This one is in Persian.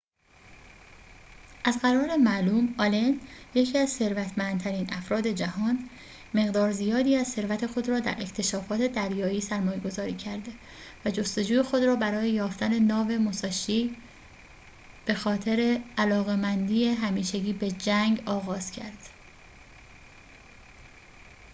از قرار معلوم آلن یکی از ثروتمندترین افراد جهان مقدار زیادی از ثروت خود را در اکتشافات دریایی سرمایه‌گذاری کرده و جستجوی خود را برای یافتن ناو موساشی ب خاطر علاقه‌مندی همیشگی به جنگ آغاز کرد